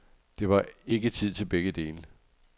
Der var ikke tid til begge dele.